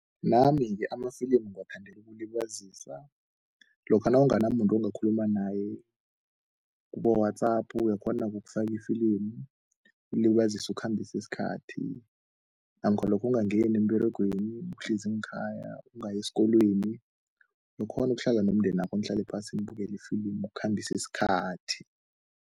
Nami-ke amafilimu ngiwathandela ukulibazisa. Lokha nawunganamuntu ongakhuluma naye kubo-WhatsApp uyakghona-ke ukufaka ifilimu, ulibazise, ukhambise isikhathi namkha lokha ungangeni emberegweni, uhlezi ngekhaya, ungayi esikolweni, ukghone ukuhlala nomndenakho, nihlale phasi nibukele ifilimu ukukhambisa isikhathi.